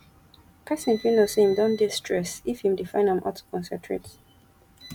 person fit know sey im don dey stress if im dey find am hard to concentrate